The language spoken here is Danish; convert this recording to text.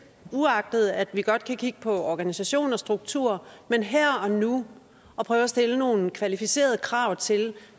uagtet at vi godt kan kigge på organisation og struktur men her og nu at prøve at stille nogle kvalificerede krav til